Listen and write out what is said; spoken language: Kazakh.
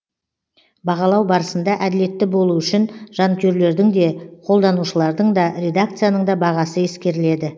бағалау барысында әділетті болуы үшін жанкүйерлердің де қолданушылардың да редакцияның да бағасы ескеріледі